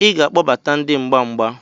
Ị ga-akpọbata ndị mgba mgba